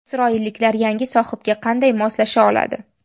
Isroilliklar yangi sohibga qanday moslasha oladi?